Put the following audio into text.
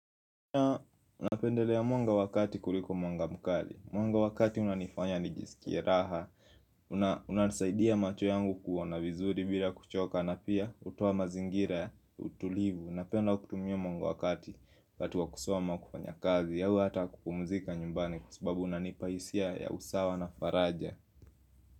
Naam naunapendelea mwanga wa kati kuliko mwanga mkali Mwanga wa kati unanifanya nijisikie raha unanisaidia macho yangu kuona vizuri bila kuchoka na pia hutoa mazingira ya utulivu Napenda kutumia mwanga wa kati wakati wa kusoma, kufanya kazi au hata kupumzika nyumbani kwa sababu unanipa hisia ya usawa na faraja.